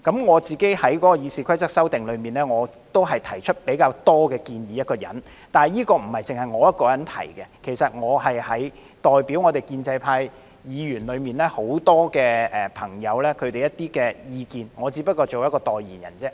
我個人在《議事規則》修訂裏，是提出比較多建議的一人，但這不只是我一人提出，其實我是代表建制派議員中很多朋友提出這些意見，我只是代言人而已。